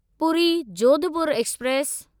Puri Jodhpur express